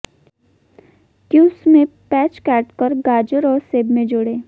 cubes में प्याज काट और गाजर और सेब में जोड़ें